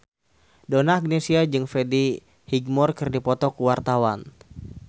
Donna Agnesia jeung Freddie Highmore keur dipoto ku wartawan